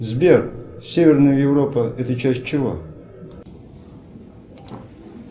сбер северная европа это часть чего